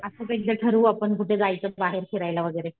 असं बी एकदा ठरवूं आपण कुठे जायचं बाहेर फिरायला वगैरे